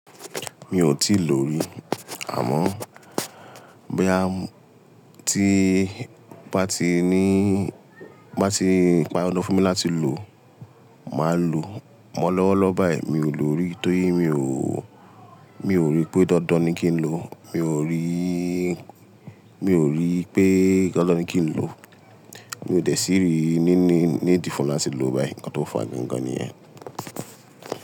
Mi ò tíì lò rí. Àmọ́ boya ti n bá ti ní, bá ti pa dandan fún mi láti lò, màá lò amọ lọ́wọ́lọ́wọ́ báyìí. Mi n lò rí torí mi ò, mi ò rí pé dandan ni kí n lò. Mi ò rí, mi ò rí pé dandan ni kí n lò. Mi ò dẹ sii rii nínìí nídi fún láti lo báyìí. Ǹkan tó fa gangan nìyẹn.